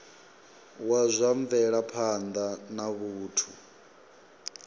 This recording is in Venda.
wa zwa mvelaphanda ya vhathu